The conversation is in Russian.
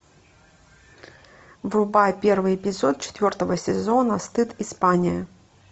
врубай первый эпизод четвертого сезона стыд испания